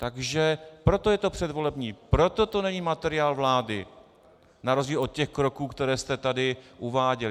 Takže proto je to předvolební, proto to není materiál vlády, na rozdíl od těch kroků, které jste tady uváděl.